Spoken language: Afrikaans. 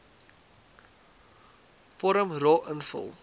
vorm ro invul